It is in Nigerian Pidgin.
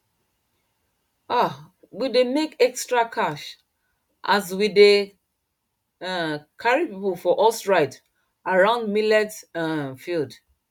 um we dey make extra cash as we dey um carry people for horse ride around millet um field